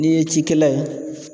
N'i ye cikɛla ye